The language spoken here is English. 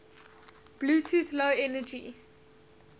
bluetooth low energy